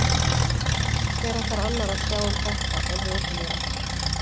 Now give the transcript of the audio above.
Hver ætlar annar að sjá um þetta en hið opinbera?